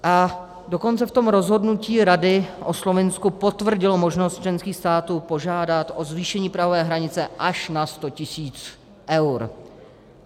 A dokonce v tom rozhodnutí Rady o Slovinsku potvrdilo možnost členských států požádat o zvýšení prahové hranice až na 100 tisíc eur.